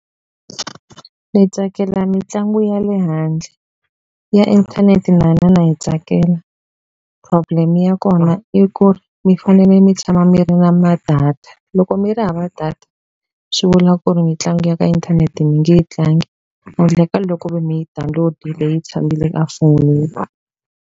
Ni tsakela mitlangu ya le handle ya inthanete na yona na yi tsakela problem ya kona i ku mi fanele mi tshama mi ri na ma-data loko mi ri hava data swi vula ku ri minlangu ya ka inthanete mi nge tlangi handle ka ku ri mi yi download-ile yi tshamile a foni.